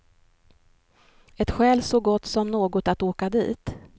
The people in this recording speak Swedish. Ett skäl så gott som något att åka dit.